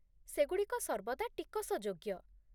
ସେଗୁଡ଼ିକ ସର୍ବଦା ଟିକସଯୋଗ୍ୟ।